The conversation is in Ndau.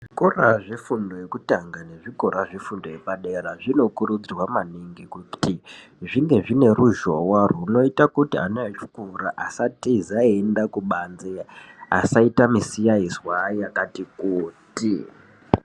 Zvikora zvefundo yekutanga nezvikora zvefundo yepadera, zvinokurudzirwa maningi kuti zvinge zvine ruzhonwa runoita kuti ana echikora asatiza eienda kubanze. Asaita musiyazwa yakati kuti.